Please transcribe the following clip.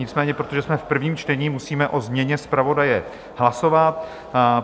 Nicméně protože jsme v prvním čtení, musíme o změně zpravodaje hlasovat.